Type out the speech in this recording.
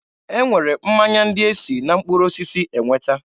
E nwere mmanya ndị e si na mkpụrụ osisi enweta.